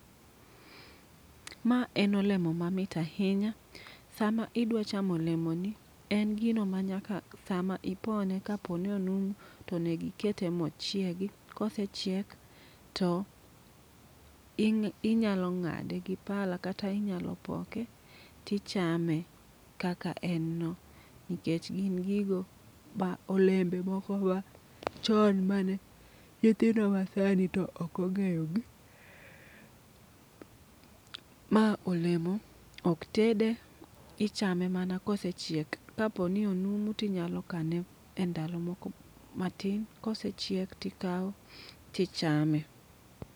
Ma en olemo mamit ahinya. Sama idwa chamo olemoni en gino ma nyaka sama ipone kaponi onumu to nego ikete ma ochiegi. Ka osechiek to inyalo ng'ade gi pala kata inyalo ipoke kaka en no nikech gin gigo olemo machon ma nyithindo masani to ok ong'eyogi. Ma olemo ok tede, ichame mana kosechiek kapo ni onumu to inyalo kane endalo moko matin ka osechiek to ikawe ichame.